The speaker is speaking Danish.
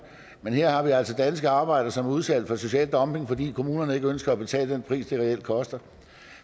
men her har vi altså danske arbejdere som er udsat for social dumping fordi kommunerne ikke ønsker at betale den pris det reelt koster